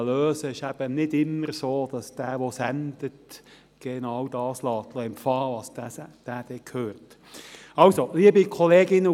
Es ist nicht immer so, dass derjenige, der sendet, genau das empfangen lässt, was dieser dann hört.